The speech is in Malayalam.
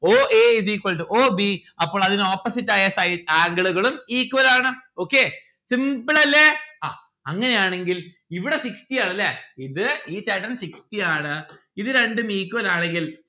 o a is equal to o b അപ്പോൾ അതിന് opposite ആയ side angle ഉകളും equal ആണ്. okay simple അല്ലെ ആ അങ്ങനെയാണെങ്കിൽ ഇവിടെ sixty ആണല്ലേ ഇത് ഈ ചേട്ടൻ sixty ആണ് ഇത് രണ്ടും equal ആണെങ്കിൽ